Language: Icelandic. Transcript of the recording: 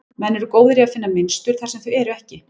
Menn eru góðir í að finna mynstur þar sem þau eru ekki.